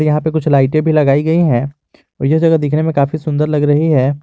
यहां पे कुछ लाइटें भी लगाई गई है और यह जगह देखने में काफी सुंदर लग रही है।